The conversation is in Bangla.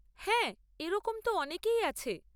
হ্যাঁ এরকম তো অনেকেই আছে।